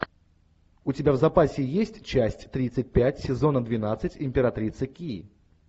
у тебя в запасе есть часть тридцать пять сезона двенадцать императрица ки